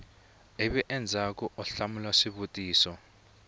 ivi endzhaku u hlamula swivutiso